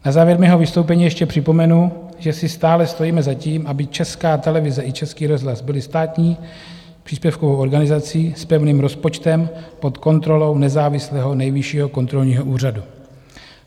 Na závěr mého vystoupení ještě připomenu, že si stále stojíme za tím, aby Česká televize i Český rozhlas byly státní příspěvkovou organizací s pevným rozpočtem pod kontrolou nezávislého Nejvyššího kontrolního úřadu.